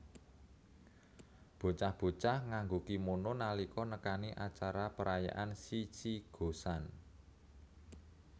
Bocah bocah nganggo kimono nalika nekani acara perayaan Shichi Go San